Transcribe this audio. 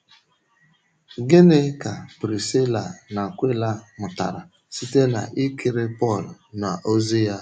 Gịnị ka Prisíla na Akwịla mụtara site n’ikiri Pọl n’ọ̀zi ya?